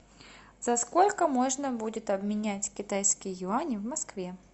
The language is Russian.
за сколько можно будет обменять китайские юани в москве